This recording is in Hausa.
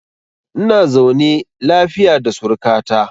Ina zaune lafiya da suruka ta.